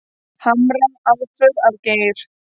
Harma aðför að Geir